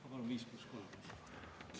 Ma palun 5 + 3 minutit.